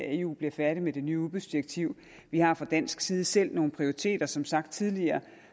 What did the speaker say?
eu bliver færdig med det nye udbudsdirektiv vi har fra dansk side selv nogle prioriteter som sagt tidligere